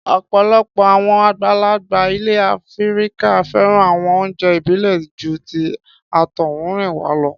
Ọ̀pọ̀lọpọ̀ àwọn àgbàlagbà ilẹ̀ Áfíríkà fẹ́ràn àwọn oúnjẹ ìbílẹ̀ ju ti àtọhúnrìnwá lọ.